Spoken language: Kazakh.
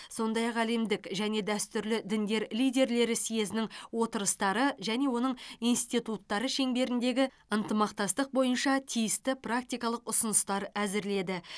сондай ақ әлемдік және дәстүрлі діндер лидерлері съезінің отырыстары және оның институттары шеңберіндегі ынтымақтастық бойынша тиісті практикалық ұсыныстар әзірледі